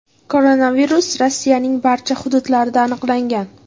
Koronavirus Rossiyaning barcha hududlarida aniqlangan.